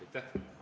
Aitäh!